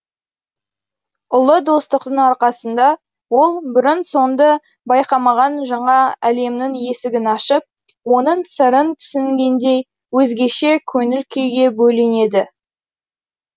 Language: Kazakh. ұлы достықтың арқасында ол бұрын соңды байқамаған жаңа әлемнің есігін ашып оның сырын түсінгендей өзгеше көңіл күйге бөленеді